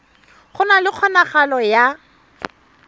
go na le kgonagalo ya